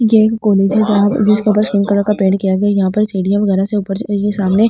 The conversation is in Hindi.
यह एक कॉलेज है जहां जिसके ऊपर कलर का पेंट किया हुआ है यहां पर सीढ़ियां वगैरा से ऊपर सामने।